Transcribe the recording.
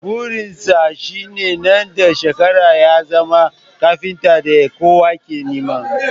Burin sa shine nan da ɗan shekaru ya zama kafintan da kowa ke nema